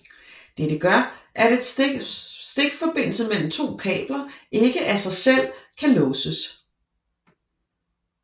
Dette gør at en stikforbindelse mellem to kabler ikke af sig selv kan låses